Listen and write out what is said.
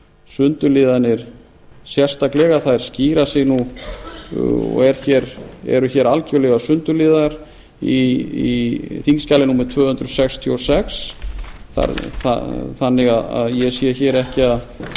sundurliðanir sérstaklega þær skýra sig og eru algerlega sundurliðaðar í þingskjali tvö hundruð sextíu og sex þannig að ég sé ekki